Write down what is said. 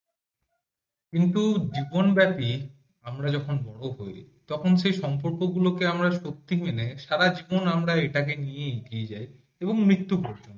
কিন্তু দীপনব্যাপী আমরা যখন বড় হই তখন সে সম্পর্ক গুলোকে সত্যি মেনে সারা জীবন আমরা এটাকে নিয়েই এগিয়ে যাই এবং মৃত্যু ঘটে